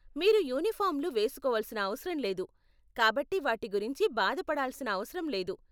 మీరు యూనిఫారంలు వేసుకోవలసిన అవసరం లేదు, కాబట్టి వాటి గురించి బాధ పడాల్సిన అవసరం లేదు.